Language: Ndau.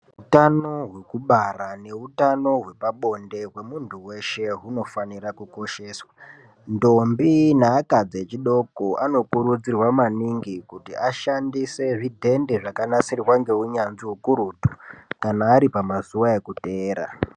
Hutano hwekubara neutano hwepabonde hwemunhu weshe hunofanirwe kukosheswa. Ndombi neakadzi echidiki anokurudzirwa maningi kuti ashandise zvidhende zvakanasirwa ngeunyanzvi ukurutu kana ari pamazuwa yekuteera.